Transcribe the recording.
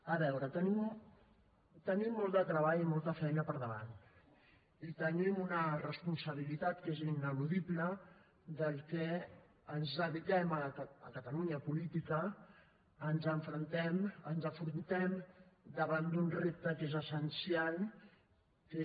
a veure tenim molt de treball i molta feina per davant i tenim una responsabilitat que és ineludible per als que ens dediquem a catalunya a la política ens enfrontem a un repte que és essencial que és